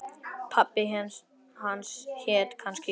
Pabbi hans hét kannski Jósef.